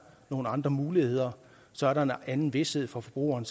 nogle andre muligheder så er der en anden vished for forbrugeren